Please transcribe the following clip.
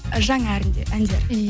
жаңа әндер